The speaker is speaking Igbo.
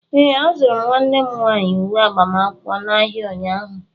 Ee, azụrụ m nwanne m nwaanyi uwe agbamakwụkwọ n'ahịa ụnyaahụ.